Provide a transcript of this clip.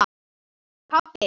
Því mun ég aldrei gleyma.